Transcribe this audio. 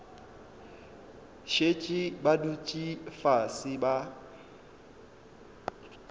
šetše ba dutše fase ba